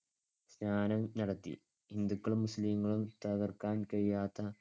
സ്‌നാനം നടത്തി. ഹിന്ദുക്കളും മുസ്ലിങ്ങളും തകർക്കാൻ കഴിയാത്ത